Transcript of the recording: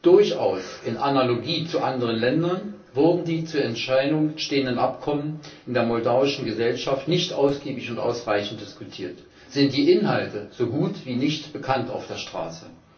Durchaus in Analogie zu anderen Ländern wurden die zur Entscheidung stehenden Abkommen in der moldauischen Gesellschaft nicht ausgiebig und ausreichend diskutiert, sind die Inhalte so gut wie nicht bekannt auf der Straße.